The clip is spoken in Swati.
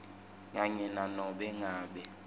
kanye nanobe ngabe